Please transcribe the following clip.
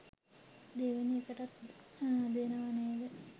දෙවෙනි එකටත් දෙනව නේද